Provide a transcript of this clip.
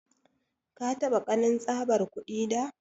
Ka taba kanin tsabar kudi da?